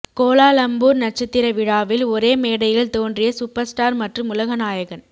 Kuala Lumpur நட்சத்திர விழாவில் ஒரே மேடையில் தோன்றிய சூப்பர்ஸ்டார் மற்றும் உலகநாயகன்